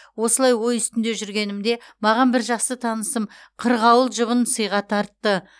осылай ой үстінде жүргенімде маған бір жақсы танысым қырғауыл жұбын сыйға тартты